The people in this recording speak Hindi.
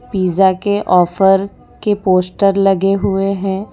पिज्जा के ऑफ़र के पोस्टर लगे हुए हैं।